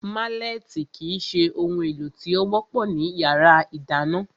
Málẹ̀tì kìí se ohun èlò tí ó wọ́pọ̀ ní yàrá ìdáná